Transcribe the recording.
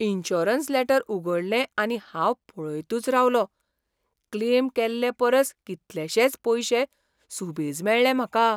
Insurance letter उगडलें आनी हांव पळयतच रावलों. क्लेम केल्लेपरस कितलशेच पयशे सुबेज मेळ्ळे म्हाका.